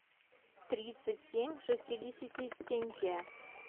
тридцать семь шестидесяти тенге